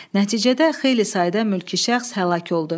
Nəticədə xeyli sayda mülki şəxs həlak oldu.